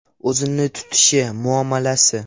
O‘zini tutishi, muomalasi.